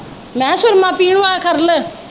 ਮੈ ਕਿਹਾ ਸੁਰਮਾ ਪੀਣ ਵਾਲਾ ਖਰਲ।